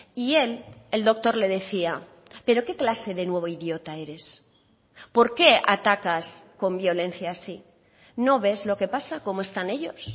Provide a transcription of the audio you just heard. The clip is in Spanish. y él el doctor le decía pero qué clase de nuevo idiota eres por qué atacas con violencia así no ves lo que pasa cómo están ellos